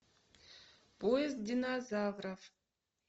поезд динозавров